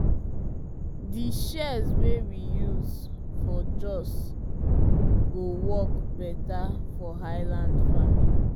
di shears wey we use for jos go work better for highland farming